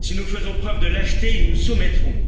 Si nous faisons preuve de lâcheté, ils nous soumettront.